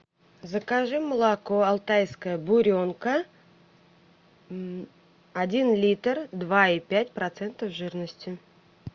закажи молоко алтайская буренка один литр два и пять процента жирности